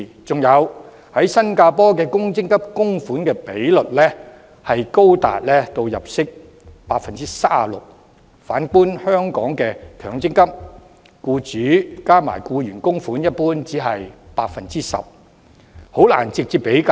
再者，新加坡公積金供款比率高達僱員入息的 37%， 反觀香港的強積金，僱主加上僱員供款的比率一般只是 10%， 難以直接比較。